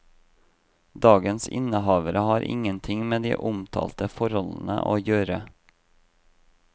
Dagens innehavere har ingenting med de omtalte forholdene å gjøre.